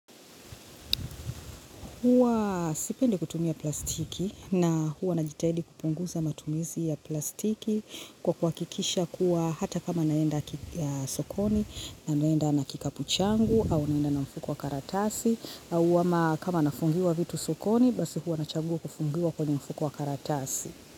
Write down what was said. Huwa sipendi kutumia plastiki na huwa najitahidi kupunguza matumizi ya plastiki kwa kuhakikisha kuwa hata kama naenda sokoni na naenda na kikapu changu au naenda na mfuko wa karatasi au kama nafungiwa vitu sokoni basi huwa na chagua kufungiwa kwenye mfuko wa karatasi.